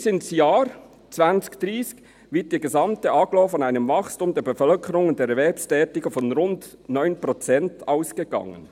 Bis ins Jahr 2030 wird in der gesamten Agglomeration von einem Wachstum der Bevölkerung der Anzahl Erwerbstätiger von rund 9 Prozent ausgegangen.